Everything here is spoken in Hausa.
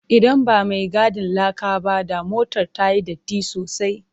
Idan ba mai gadin laka ba, da motar ta yi datti sosai.